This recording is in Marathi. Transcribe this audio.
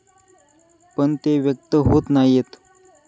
पण ते व्यक्त होत नाहीयत.